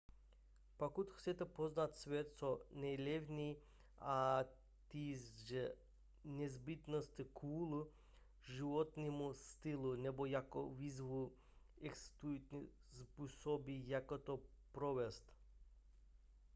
pokud chcete poznat svět co nejlevněji ať již z nezbytnosti kvůli životnímu stylu nebo jako výzvu existují způsoby jak to provést